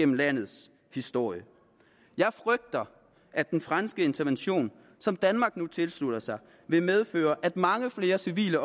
landets historie jeg frygter at den franske intervention som danmark nu tilslutter sig vil medføre at mange flere civile